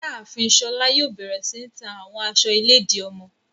Iyaafin Shola yoo bẹrẹ si ta awọn aṣọ iledi ọmọ